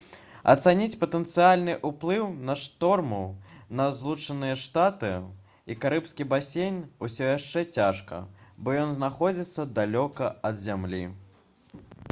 ацаніць патэнцыяльны ўплыў на шторму на злучаныя штаты і карыбскі басейн усё яшчэ цяжка бо ён знаходзіцца далёка ад зямлі